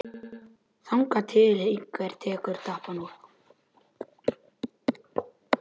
Þangað til einhver tekur tappann úr.